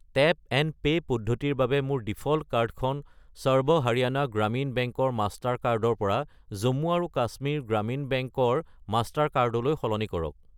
Tap and pay পদ্ধতিৰ বাবে মোৰ ডিফ'ল্ট কাৰ্ডখন সৰ্ব হাৰিয়ানা গ্ৰামীণ বেংক ৰ মাষ্টাৰ কাৰ্ড ৰ পৰা জম্মু আৰু কাশ্মীৰ গ্ৰামীণ বেংক ৰ মাষ্টাৰ কাৰ্ড লৈ সলনি কৰক।